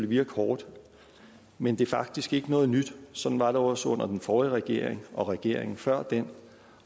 virke hårdt men det er faktisk ikke noget nyt sådan var det også under den forrige regering og regeringen før den